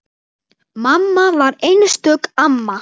Mamma var einstök amma.